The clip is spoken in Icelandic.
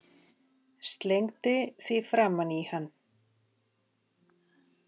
Slengdi því framan í hann.